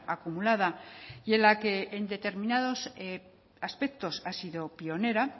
acumulada y en la que en determinados aspectos ha sido pionera